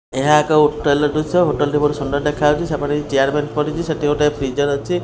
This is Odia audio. ଏହା ଏକ ହୋଟେଲ୍ ର ଦୃଶ୍ୟ ହୋଟେଲ୍ ଟି ବହୁତ ସୁନ୍ଦର ଦେଖାହଉଚି ସେପଟେ କିଛି ଚିଆର ବେଞ୍ଚ ପଡ଼ିଚି ସେଟି ଗୋଟେ ଫ୍ରିଜର୍ ଅଛି।